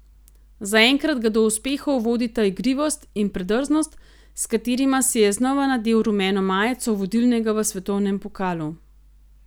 Za enkrat ga do uspehov vodita igrivost in predrznost, s katerima si je znova nadel rumeno majico vodilnega v svetovnem pokalu.